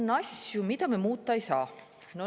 On asju, mida me muuta ei saa.